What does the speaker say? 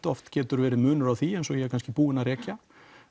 oft getur verið munur á því eins og ég er kannski búinn að rekja